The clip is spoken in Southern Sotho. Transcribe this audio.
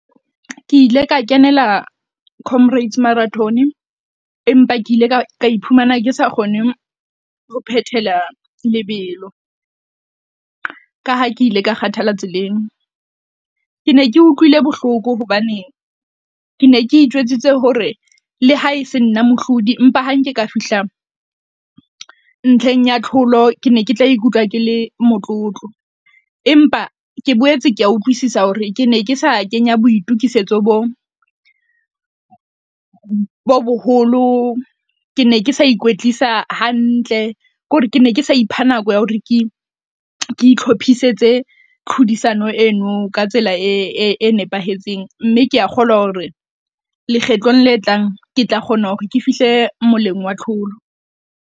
Ke ile ka kenela Comrades Marathon empa ke ile ka ka iphumana ke sa kgone ho phethela lebelo ka ha ke ile ka kgathala tseleng. Ke ne ke utlwile bohloko. Hobaneng ke ne ke itjwetsitse hore le ha e se nna mohlodi empa ha nke ka fihlang ntlheng ya tlholo. Ke ne ke tla ikutlwa kele motlotlo empa ke boetse ke a utlwisisa hore ke ne ke sa kenya boitokisetso bo bo boholo. Ke ne ke sa ikwetlisa hantle ke hore ke ne ke sa ipha nako ya hore ke ke itlhophisetse, tlhodisano eno ka tsela e e nepahetseng mme ke a kgolwa hore, lekgetlong le tlang ke tla kgona hore ke fihle moleng wa tlholo.